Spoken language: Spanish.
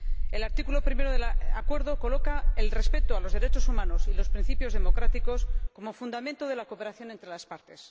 El artículo primero del Acuerdo coloca el respeto de los derechos humanos y de los principios democráticos como fundamento de la cooperación entre las Partes.